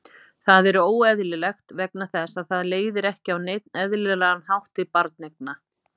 Það er óeðlilegt vegna þess að það leiðir ekki á neinn eðlilegan hátt til barneigna.